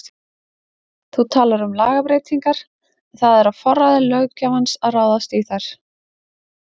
Þú talar um lagabreytingar en það er á forræði löggjafans að ráðast í þær?